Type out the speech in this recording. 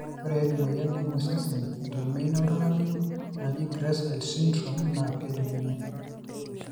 ore emoyian naimu osesen eton meino oltungani naji GRACILE syndrome naa kejung'uni